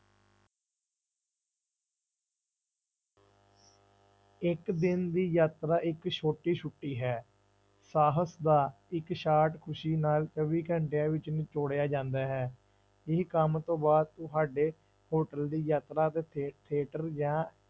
ਇੱਕ ਦਿਨ ਦੀ ਯਾਤਰਾ ਇੱਕ ਛੋਟੀ ਛੁੱਟੀ ਹੈ, ਸਾਹਸ ਦਾ ਇੱਕ ਸਾਟ ਖ਼ੁਸ਼ੀ ਨਾਲ ਚੌਵੀ ਘੰਟਿਆਂ ਵਿੱਚ ਨਚੌੜਿਆ ਜਾਂਦਾ ਹੈ, ਇਹ ਕੰਮ ਤੋਂ ਬਾਅਦ ਤੁਹਾਡੇ hotel ਦੀ ਯਾਤਰਾ ਤੇ theater ਜਾਂ